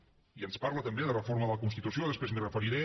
i ens parla també de reforma de la constitució després m’hi referiré